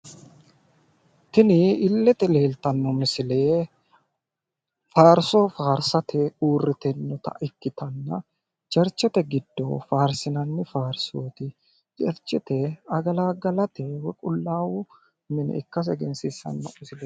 Tini illete leeltanno misile faarso faarsate uurritinota ikkitanna cherchete giddo faarsinanni faarsooti. Cherchete agalaggalate woyi qullaawu mine ikkase egensiissanno misileeti.